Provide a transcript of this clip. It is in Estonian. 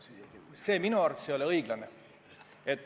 See minu arvates ei ole õiglane.